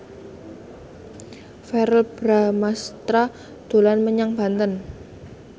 Verrell Bramastra dolan menyang Banten